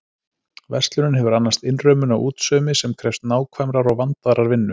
Verslunin hefur annast innrömmun á útsaumi sem krefst nákvæmrar og vandaðrar vinnu.